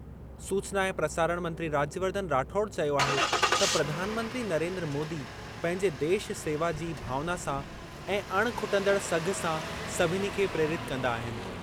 सूचना ऐं प्रसारण मंत्री राज्यवर्धन राठौड़ चयो आहे त प्रधानमंत्री नरेन्द्र मोदी पंहिंजे देश सेवा जी भावना सां ऐं अणिखुटंदड़ सघि सां सभिनी खे प्रेरित कंदा आहिनि।